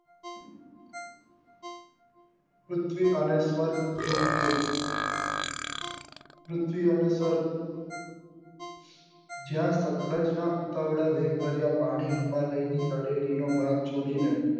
પૃથ્વી અને સ્વર્ગ ધૂમકેતુ પૃથ્વી અને સ્વર્ગ જ્યાં વેલ ભર્યા પાણી હિમાલય ની તળેટી નો ભાગ છોડી ને